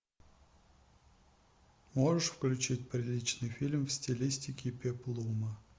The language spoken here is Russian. можешь включить приличный фильм в стилистике пеплума